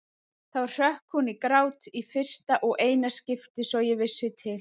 Þá hrökk hún í grát, í fyrsta og eina skiptið svo ég vissi til.